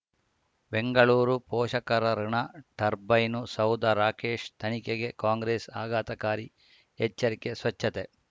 ಬೆಂಗಳೂರು ಪೋಷಕರಋಣ ಟರ್ಬೈನು ಸೌಧ ರಾಕೇಶ್ ತನಿಖೆಗೆ ಕಾಂಗ್ರೆಸ್ ಆಘಾತಕಾರಿ ಎಚ್ಚರಿಕೆ ಸ್ವಚ್ಛತೆ